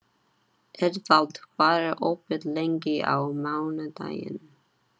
Eðvald, hvað er opið lengi á mánudaginn?